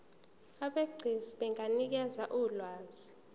abegcis benganikeza ulwazi